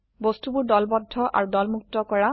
বস্তুবোৰ দলবদ্ধ অাৰু দলমুক্ত কৰা